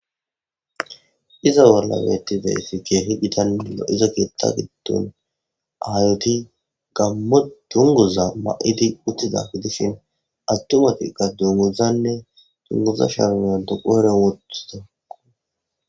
iza bolla beettizayti keehi gidano izo keetta giddon ahayoti gammo dunguza ma7idi uttida gidishin attumatikka dunguzanne dunguza sharuna doqoere wothida